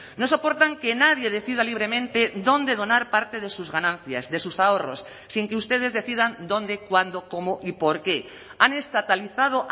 no soportan que nadie decida libremente dónde donar parte de sus ganancias de sus ahorros sin que ustedes decidan dónde cuándo cómo y por qué han estatalizado